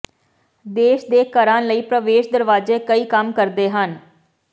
ਦੇਸ਼ ਦੇ ਘਰਾਂ ਲਈ ਪ੍ਰਵੇਸ਼ ਦਰਵਾਜ਼ੇ ਕਈ ਕੰਮ ਕਰਦੇ ਹਨ